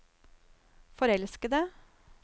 forelskede